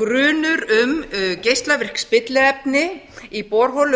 grunur um geislavirk spilliefni í borholum